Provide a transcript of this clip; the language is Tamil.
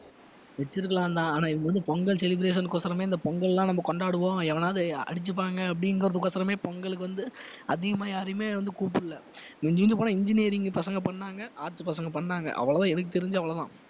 வச்சிருக்கலாம்தான் ஆனா இவங்க வந்து பொங்கல் celebration க்கோசறமே இந்த பொங்கல் எல்லாம் நம்ம கொண்டாடுவோம் எவனாவது அடிச்சுப்பாங்க அப்படிங்கிறதுக்கோசறமே பொங்கலுக்கு வந்து அதிகமா யாரையுமே வந்து கூப்பிடுல மிஞ்சி மிஞ்சி போனா engineering பசங்க பண்ணாங்க arts பசங்க பண்ணாங்க அவ்வளவுதான் எனக்கு தெரிஞ்சு அவ்வளவுதான்